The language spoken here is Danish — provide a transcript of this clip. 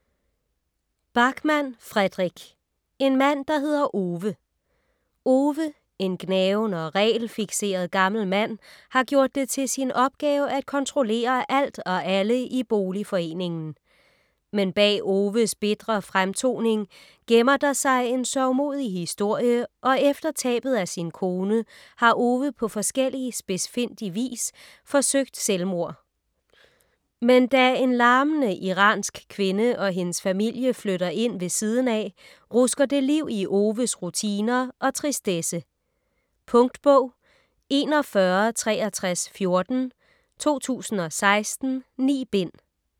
Backman, Fredrik: En mand der hedder Ove Ove, en gnaven og regelfikseret gammel mand, har gjort det til sin opgave at kontrollere alt og alle i boligforeningen. Men bag Oves bitre fremtoning gemmer der sig en sørgmodig historie og efter tabet af sin kone har Ove på forskellig spidsfindig vis forsøgt selvmord. Men da en larmende iransk kvinde og hendes familie flytter ind ved siden af, rusker det liv i Oves rutiner og tristesse. Punktbog 416314 2016. 9 bind.